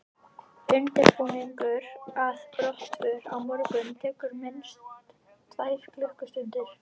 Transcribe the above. Undirbúningur að brottför á morgnana tekur minnst tvær klukkustundir.